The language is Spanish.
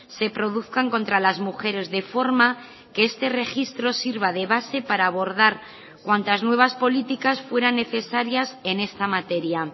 se produzcan contra las mujeres de forma que este registro sirva de base para abordar cuantas nuevas políticas fueran necesarias en esta materia